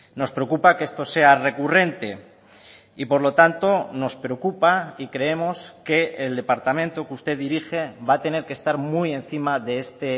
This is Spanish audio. nos preocupa que esto sea recurrente y por lo tanto nos preocupa y creemos que el departamento que usted dirige va a tener que estar muy encima de este